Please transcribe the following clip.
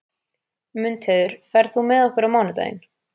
Mundheiður, ferð þú með okkur á mánudaginn?